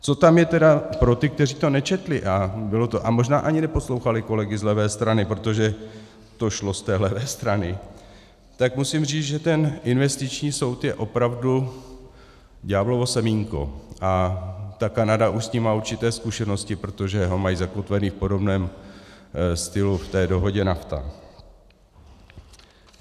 Co tam je tedy pro ty, kteří to nečetli a možná ani neposlouchali kolegy z levé strany, protože to šlo z té levé strany, tak musím říct, že ten investiční soud je opravdu ďáblovo semínko a ta Kanada už s ním má určité zkušenosti, protože ho mají zakotveny v podobném stylu v té dohodě NAFTA.